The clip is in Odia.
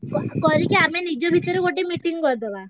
କ ~ କରିକି ଆମ ନିଜ ଭିତରେ ଗୋଟେ meeting କରିଦବା।